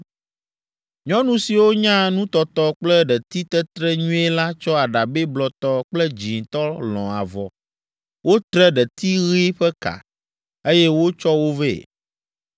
Nyɔnu siwo nya nutɔtɔ kple ɖetitetre nyuie la tsɔ aɖabɛ blɔtɔ kple dzĩtɔ lɔ̃ avɔ, wotre ɖeti ɣi ƒe ka, eye wotsɔ wo vɛ.